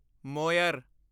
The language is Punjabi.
ਮੋਇਰ